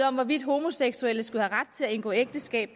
om hvorvidt homoseksuelle skulle have ret til at indgå ægteskab